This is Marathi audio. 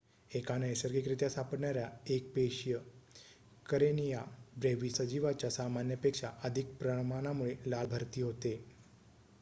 एका नैसर्गिकरीत्या सापडणाऱ्या एक पेशीय करेनिया ब्रेव्हीस या सजीवाच्या सामान्य पेक्षा अधिक प्रमाणामुळे लाल भरती होते